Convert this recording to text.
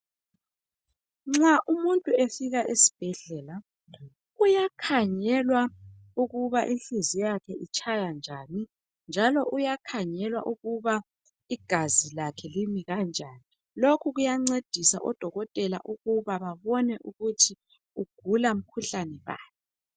Nxa umuntu efika esibhedlela uyakhangelwa ukuba inhliziyo yakhe itshaya njani njalo uyakhanagelwa ukuba igazi lakhe limi kanjani lokhu kuyancedisa odokotel ukubababone ukuthi ugula mkhuhlani bani.